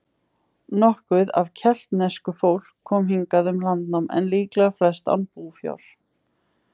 Nokkuð af keltnesku fólk kom hingað um landnám, en líklega flest án búfjár.